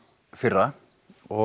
fyrra og